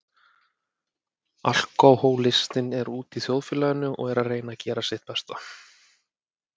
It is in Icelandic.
Alkohólistinn er úti í þjóðfélaginu og er að reyna að gera sitt besta.